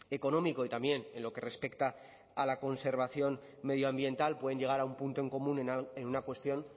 económico y también en lo que respecta a la conservación medioambiental pueden llegar a un punto en común en una cuestión